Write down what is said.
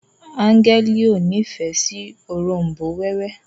Angel o ní ìfẹ si òrombó wewe